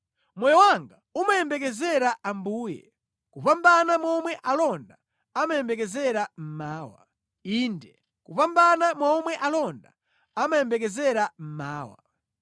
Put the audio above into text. Moyo wanga umayembekezera Ambuye, kupambana momwe alonda amayembekezera mmawa, inde, kupambana momwe alonda amayembekezera mmawa,